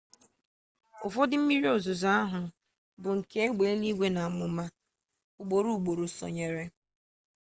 ụfọdụ mmiri ozuzo ahụ bụ nke egbe eluigwe na amụma ugboro ugboro sonyere